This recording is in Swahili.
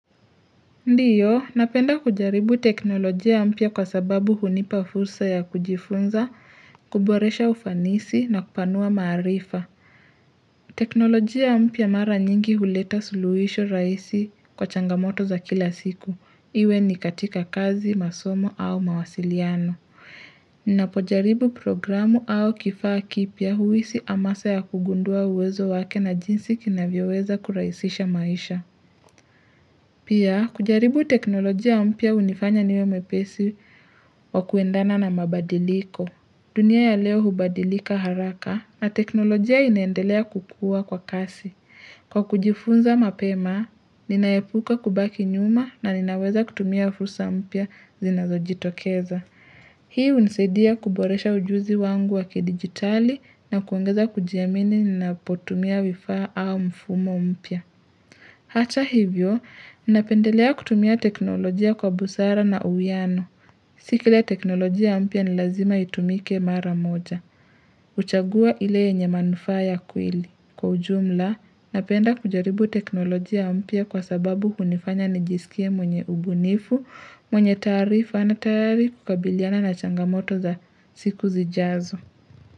Ndiyo, napenda kujaribu teknolojia ya mpya kwa sababu hunipafursa ya kujifunza, kuboresha ufanisi na kupanua maarifa. Teknolojia mpya mara nyingi huleta suluhisho rahisi kwa changamoto za kila siku. Iwe ni katika kazi, masomo au mawasiliano. Napojaribu programu au kifaa kipya huhisi hamasa ya kugundua uwezo wake na jinsi kinavyoweza kurahisisha maisha. Pia, kujaribu teknolojia mpya hunifanya niwe mwepesi wa kuendana na mabadiliko. Dunia ya leo hubadilika haraka na teknolojia inaendelea kukua kwa kasi. Kwa kujifunza mapema, ninaepuka kubaki nyuma na ninaweza kutumia fursa mpya zinazo jitokeza. Hii hunisaidia kuboresha ujuzi wangu waki digitali na kuongeza kujiamini nina potumia vifaa au mfumo mpia. Hata hivyo, napendelea kutumia teknolojia kwa busara na uwiano. Sikils teknolojia mpya ni lazima itumike mara moja. Uchage ile yenye manufaa ya kweli. Kwa ujumla, napenda kujaribu teknolojia mpya kwa sababu hunifanya nijisikie mwenye ubunifu, mwenye taarifa na tayari kukabiliana na changamoto za siku zijazo.